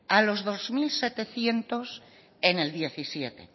a los dos mil setecientos en el dos mil diecisiete